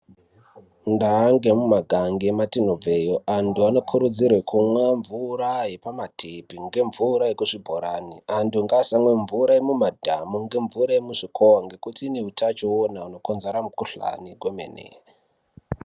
Ndaa nemumagange mwetinobva antu anokurudzirwa kumwa mvura yemumatepi ngemvura yemuzvibhorani antu ngaasimwe mvura yemumadhamu nemvura yemuzvikuva ngekuti inezvitachiona zvinokonzera mukuhlani kwemene.